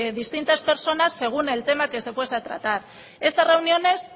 distintas personas según el tema que se fuese a tratar estas reuniones